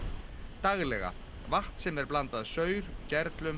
vatn sem er blandað saur